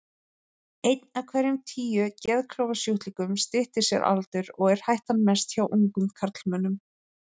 Einn af hverjum tíu geðklofasjúklingum styttir sér aldur, og er hættan mest hjá ungum karlmönnum.